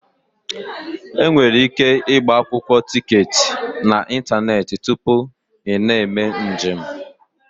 Enwere ike ịgba akwụkwọ tiketi n'ịntanetị tupu ị na-eme njem.